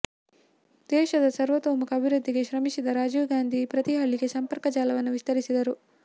ದೇಶದ ಸರ್ವತೋಮುಖ ಅಭಿವೃದ್ಧಿಗೆ ಶ್ರಮಿಸಿದ ರಾಜೀವ್ ಗಾಂಧಿ ಪ್ರತಿ ಹಳ್ಳಿಗೆ ಸಂಪರ್ಕ ಜಾಲವನ್ನು ವಿಸ್ತರಿಸಿದರು